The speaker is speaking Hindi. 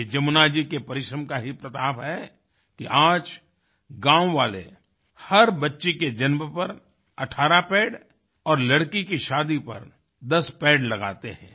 ये जमुना जी के परिश्रम का ही प्रताप है कि आज गाँववाले हर बच्चे के जन्म पर 18 पेड़ और लड़की की शादी पर 10 पेड़ लगाते हैं